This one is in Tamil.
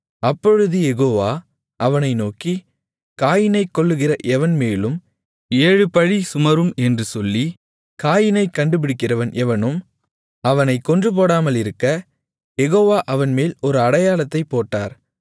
அப்பொழுது யெகோவா அவனை நோக்கி காயீனைக் கொல்லுகிற எவன் மேலும் ஏழு பழி சுமரும் என்று சொல்லி காயீனைக் கண்டுபிடிக்கிறவன் எவனும் அவனைக் கொன்றுபோடாமலிருக்க யெகோவா அவன்மேல் ஒரு அடையாளத்தைப் போட்டார்